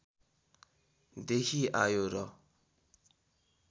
देखि आयो र